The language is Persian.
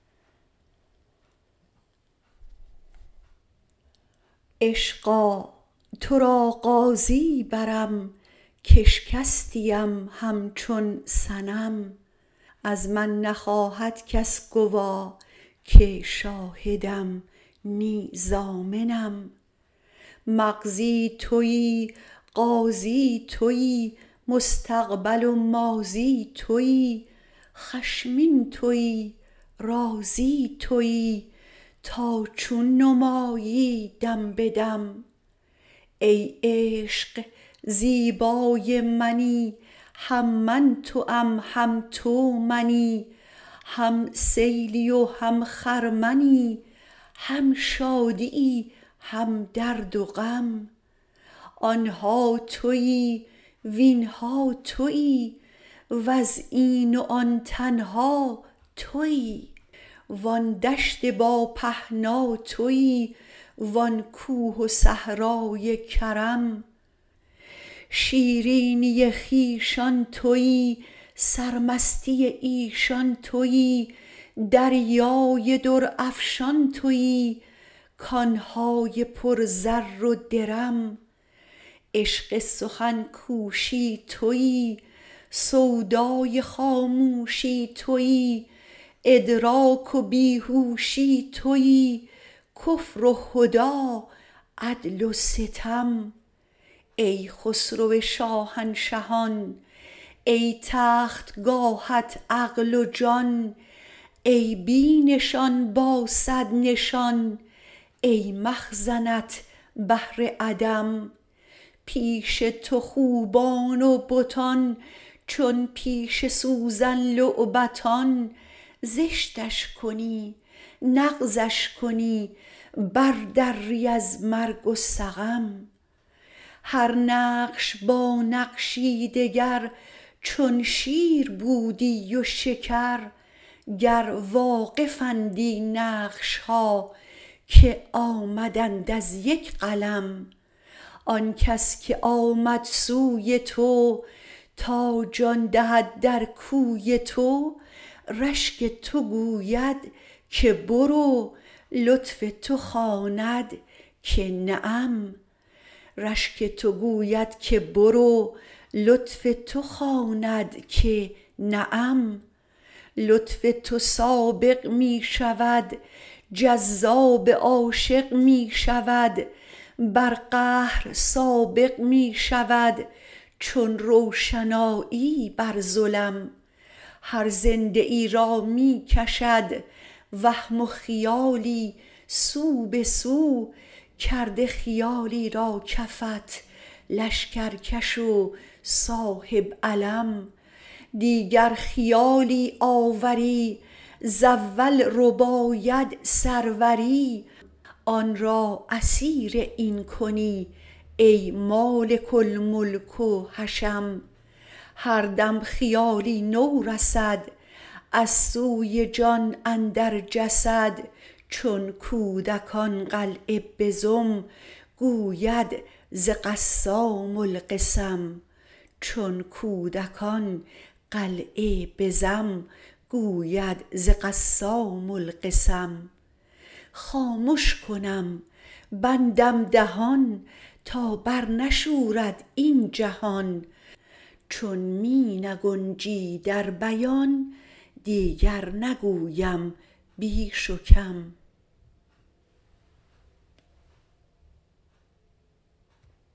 عشقا تو را قاضی برم کاشکستیم همچون صنم از من نخواهد کس گوا که شاهدم نی ضامنم مقضی توی قاضی توی مستقبل و ماضی توی خشمین توی راضی توی تا چون نمایی دم به دم ای عشق زیبای منی هم من توام هم تو منی هم سیلی و هم خرمنی هم شادیی هم درد و غم آن ها توی وین ها توی وز این و آن تنها توی وآن دشت با پهنا توی وآن کوه و صحرای کرم شیرینی خویشان توی سرمستی ایشان توی دریای درافشان توی کان های پر زر و درم عشق سخن کوشی توی سودای خاموشی توی ادراک و بی هوشی توی کفر و هدی عدل و ستم ای خسرو شاهنشهان ای تختگاهت عقل و جان ای بی نشان با صد نشان ای مخزنت بحر عدم پیش تو خوبان و بتان چون پیش سوزن لعبتان زشتش کنی نغزش کنی بردری از مرگ و سقم هر نقش با نقشی دگر چون شیر بودی و شکر گر واقفندی نقش ها که آمدند از یک قلم آن کس که آمد سوی تو تا جان دهد در کوی تو رشک تو گوید که برو لطف تو خواند که نعم لطف تو سابق می شود جذاب عاشق می شود بر قهر سابق می شود چون روشنایی بر ظلم هر زنده ای را می کشد وهم و خیالی سو به سو کرده خیالی را کفت لشکرکش و صاحب علم دیگر خیالی آوری ز اول رباید سروری آن را اسیر این کنی ای مالک الملک و حشم هر دم خیالی نو رسد از سوی جان اندر جسد چون کودکان قلعه بزم گوید ز قسام القسم خامش کنم بندم دهان تا برنشورد این جهان چون می نگنجی در بیان دیگر نگویم بیش و کم